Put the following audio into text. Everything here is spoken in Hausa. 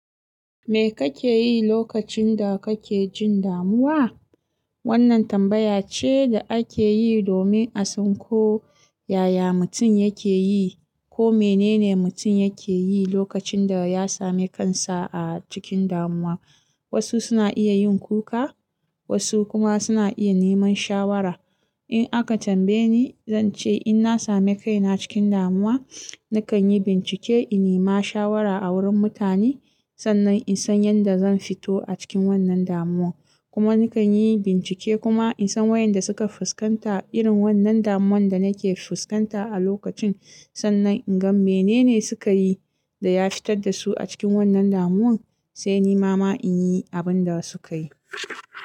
"Me kake yi lokacin da kake jin damuwa?" Wannan tambaya ce da ake yi domin a san ko yaya mutum yake yi ko mene ne mutum yake yi lokacin da ya sami kansa a cikin damuwa. Wasu suna iya yin kuka, wasu kuma suna iya neman shawara. In aka tambaye ni, zan ce in na sami kaina cikin damuwa, nakan yi bincike in nima shawara a wurin mutane sannan in san yanda zan fito a cikin wannan damuwan. Kuma nakan yi bincike kuma in san wayanda suka fuskanta irin wannan damuwan da nake fuskanta a lokacin sannan in gan mene ne suka yi da ya fitar da su a cikin wannan damuwan sai ni mama in yi abin da suka yi.